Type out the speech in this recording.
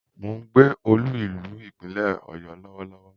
Mo ń gbé olú-ìlú Ìpínlẹ̀ Ọ̀yọ́ Lọ́wọ́lọ́wọ́